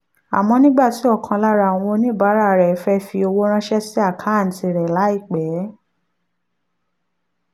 àmọ́ nígbà tí ọ̀kan lára àwọn oníbàárà rẹ̀ fẹ́ fi owó ránṣẹ́ sí àkáǹtì rẹ̀ láìpẹ́